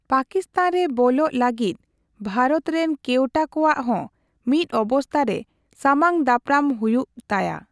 ᱯᱟᱠᱤᱥᱛᱷᱟᱱ ᱨᱮ ᱵᱚᱞᱚᱜ ᱞᱟᱹᱜᱤᱫ ᱵᱷᱟᱨᱚᱛ ᱨᱮᱱ ᱠᱮᱣᱴᱟ ᱠᱚᱣᱟᱜ ᱦᱚ ᱢᱤᱫ ᱚᱵᱚᱥᱛᱷᱟ ᱨᱮ ᱥᱟᱢᱟᱝᱫᱟᱯᱨᱟᱢ ᱦᱩᱭᱩᱜ ᱛᱟᱭᱟ᱾